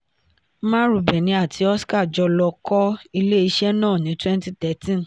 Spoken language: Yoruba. marubeni àti oska-jo ló kọ́ ilé iṣẹ́ náà ní twenty thirteen.